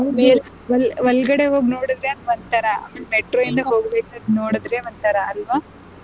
ಹೌದು ಒಳಗಡೆ ಹೋಗಿ ನೋಡುದ್ರೆ ಒಂಥರಾ metro ಇಂದ ನೋಡ್ಬೇಕಾದ್ರೆ ಒಂಥರಾ ಅಲ್ವಾ.